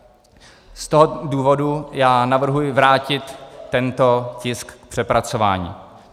Z tohoto důvodu já navrhuji vrátit tento tisk k přepracování.